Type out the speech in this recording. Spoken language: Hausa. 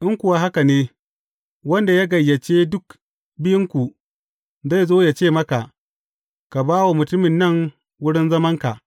In kuwa haka ne, wanda ya gayyace duk biyunku, zai zo ya ce maka, Ka ba wa mutumin nan wurin zamanka.’